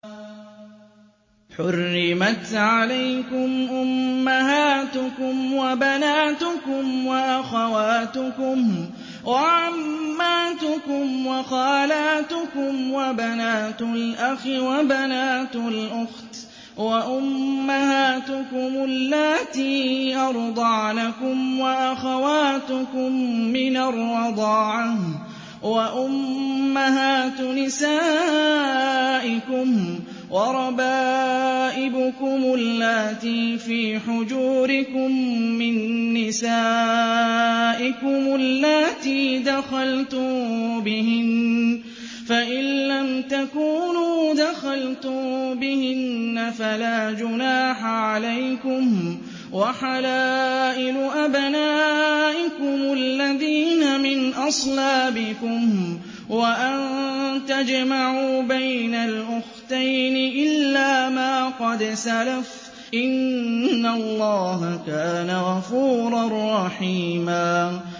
حُرِّمَتْ عَلَيْكُمْ أُمَّهَاتُكُمْ وَبَنَاتُكُمْ وَأَخَوَاتُكُمْ وَعَمَّاتُكُمْ وَخَالَاتُكُمْ وَبَنَاتُ الْأَخِ وَبَنَاتُ الْأُخْتِ وَأُمَّهَاتُكُمُ اللَّاتِي أَرْضَعْنَكُمْ وَأَخَوَاتُكُم مِّنَ الرَّضَاعَةِ وَأُمَّهَاتُ نِسَائِكُمْ وَرَبَائِبُكُمُ اللَّاتِي فِي حُجُورِكُم مِّن نِّسَائِكُمُ اللَّاتِي دَخَلْتُم بِهِنَّ فَإِن لَّمْ تَكُونُوا دَخَلْتُم بِهِنَّ فَلَا جُنَاحَ عَلَيْكُمْ وَحَلَائِلُ أَبْنَائِكُمُ الَّذِينَ مِنْ أَصْلَابِكُمْ وَأَن تَجْمَعُوا بَيْنَ الْأُخْتَيْنِ إِلَّا مَا قَدْ سَلَفَ ۗ إِنَّ اللَّهَ كَانَ غَفُورًا رَّحِيمًا